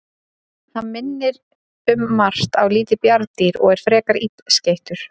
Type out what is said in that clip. Hann minnir um margt á lítið bjarndýr og er frekar illskeyttur.